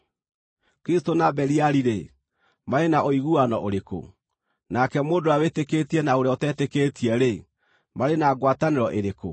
Kristũ na Beliali-rĩ, marĩ na ũiguano ũrĩkũ? Nake mũndũ ũrĩa wĩtĩkĩtie na ũrĩa ũtetĩkĩtie-rĩ, marĩ na ngwatanĩro ĩrĩkũ?